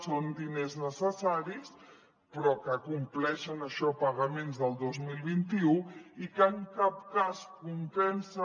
són diners necessaris però que compleixen això pagaments del dos mil vint u i que en cap cas compensen